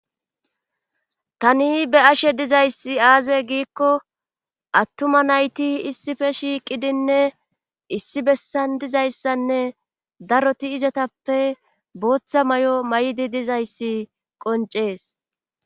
tani be7ashe dizayssi aaze giikko attuma nayti issife shiiqidinne issi bessan dizayssanne daroti izatappe booththa may7o may7idi dizayssi qoncees